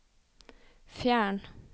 fjern